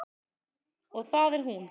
Og það er hún.